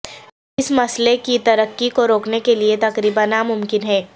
اس مسئلہ کی ترقی کو روکنے کے لئے تقریبا ناممکن ہے